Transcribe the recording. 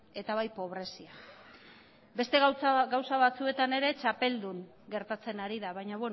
eta bai pobrezian beste gauza batzuetan ere txapeldun gertatzen ari da baina